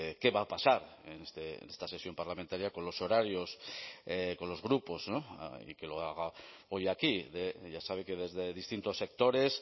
qué va a pasar en esta sesión parlamentaria con los horarios con los grupos y que lo haga hoy aquí ya sabe que desde distintos sectores